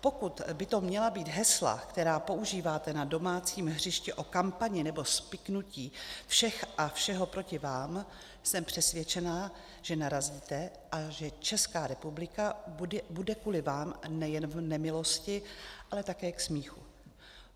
Pokud by to měla být hesla, která používáte na domácím hřišti, o kampani nebo spiknutí všech a všeho proti vám, jsem přesvědčená, že narazíte a že Česká republika bude kvůli vám nejen v nemilosti, ale také k smíchu.